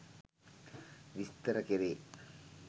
විස්තර කෙරේ